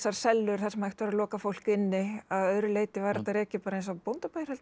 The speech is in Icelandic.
sellur þar sem hægt var að loka fólk inni að öðru leyti var þetta rekið bara eins og bóndabær held ég